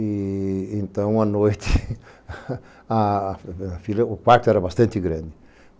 E então à noite... A filha... O quarto era bastante grande.